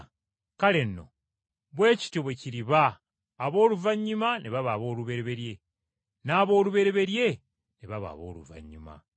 “Kale nno bwe kityo bwe kiriba abooluvannyuma ne baba aboolubereberye, n’aboolubereberye ne baba abooluvannyuma.”